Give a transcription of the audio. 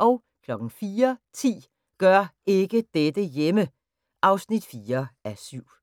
04:10: Gør ikke dette hjemme! (4:7)